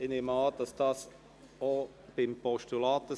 Ich nehme an, dass dies auch beim Postulat so ist.